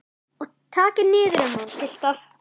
Og takið niður um hann piltar.